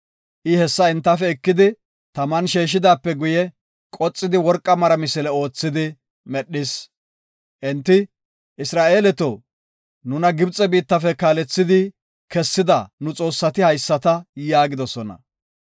I hessa entafe ekidi, taman sheeshidaape guye, qoxidi, worqa mara misile oothidi medhis. Enti, “Isra7eeleto, nuna Gibxe biittafe kaalethidi kessida nu xoossati haysata” yaagidosona.